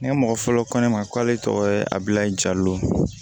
Ne mɔgɔ fɔlɔ ko ne ma k'ale tɔgɔ ye abilayi jalo